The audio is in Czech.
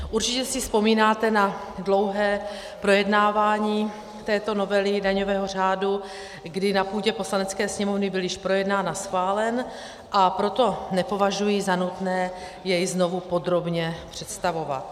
Určitě si vzpomínáte na dlouhé projednávání této novely daňového řádu, kdy na půdě Poslanecké sněmovny byl již projednán a schválen, a proto nepovažuji za nutné jej znovu podrobně představovat.